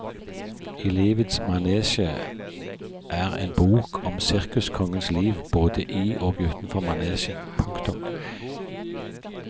I livets manesje er en bok om sirkuskongens liv både i og utenfor manesjen. punktum